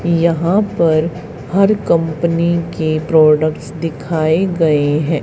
यहां पर हर कंपनी के प्रोडक्ट्स दिखाए गए हैं।